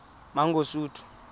mangosuthu